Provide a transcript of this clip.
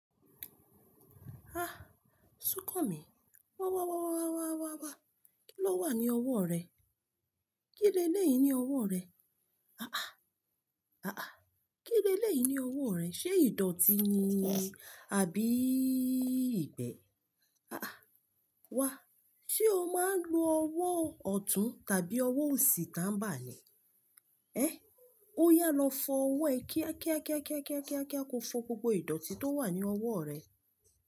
Ah! Súnkànmí, wá, wá, wá, wá, wá, wá, wá. Kí ló wà ní ọwọ́ rẹ? Kíni eleyi ní ọwọ́ rẹ? Àáà, àáà. Kíni eleyi ní ọwọ́ rẹ? Ṣé ìdọ̀tí ni àbí ìgbẹ́? Àáà, wá. Ṣé o máa ń lo ọwọ́ ọ̀tún tàbí ọwọ́ òsì táńbà ni? Ehn! Ó yà á lọ fọ ọwọ́ ẹ kíákíákíákíákíákíá ko fọ gbogbo ìdọ̀tí tó wà ní ọwọ́ rẹ.